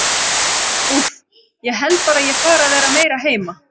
Úff, ég held bara að ég fari að vera meira heima.